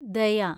ദയ